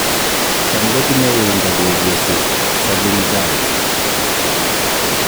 Cham kotinye uindo kobuusi Tsavingrai